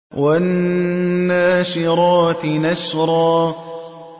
وَالنَّاشِرَاتِ نَشْرًا